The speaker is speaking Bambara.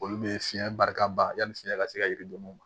Olu be fiɲɛ barika ban yani fiɲɛ ka se ka yiri don o ma